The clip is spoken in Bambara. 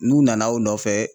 N'i nana o nɔfɛ